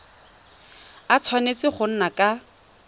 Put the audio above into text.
a tshwanetse go nna ka